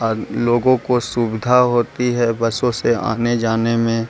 और लोगों को सुविधा होती है बसों से आने-जाने में।